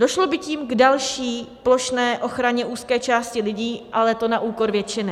Došlo by tím k další plošné ochraně úzké části lidí, ale to na úkor většiny.